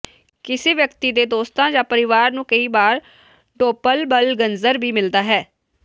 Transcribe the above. ਕਿਸੇ ਵਿਅਕਤੀ ਦੇ ਦੋਸਤਾਂ ਜਾਂ ਪਰਿਵਾਰ ਨੂੰ ਕਈ ਵਾਰ ਡੋਪਲਬਲਗੰਜਰ ਵੀ ਮਿਲਦਾ ਹੈ